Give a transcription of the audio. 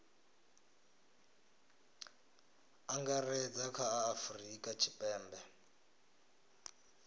angaredza kha a afurika tshipembe